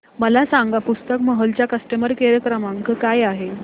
मला सांगा पुस्तक महल चा कस्टमर केअर क्रमांक काय आहे